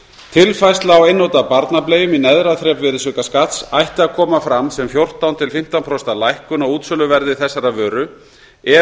tilfærsla á einnota barnableium í neðra þrep virðisaukaskatts ætti að koma fram sem fjórtán til fimmtán prósent lækkun á útsöluverði þessarar vöru ef